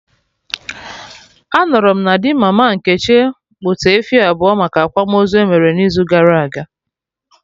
Anụrụ m na di mama Nkechi kpụta efi abụọ maka akwamozu emere n'izu gara aga